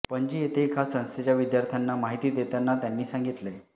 पणजी येथे एका संस्थेच्या विद्यार्थ्यांना माहिती देताना त्यांनी सांगितले